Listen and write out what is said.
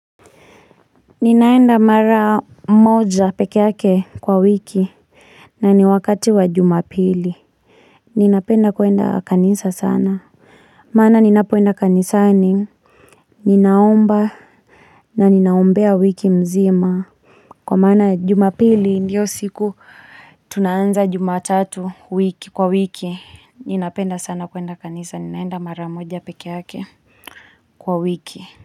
Ninaenda mara moja pekeyake kwa wiki na ni wakati wa jumapili Ninapenda kuenda kanisa sana maana ninapoenda kanisani Ninaombana na ninaombea wiki mzima kwa maana jumapili ndiyo siku tunayoanza jumatatu wiki kwa wiki Ninapenda sana kuenda kanisa ni naenda mara moja pekeyake kwa wiki.